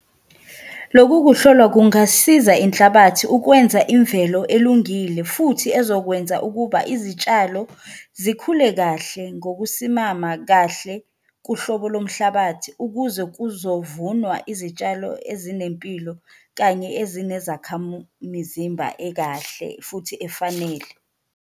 Loku kuhlolwa kungasiza inhlabathi ukwenza imvelo elungile futhi ezokwenza ukuba izitshalo zikhule kahle ngokusimama kahle kuhlobo lomhlabathi, ukuze kuzovunwa izitshalo ezinempilo kanye ekahle futhi efanele.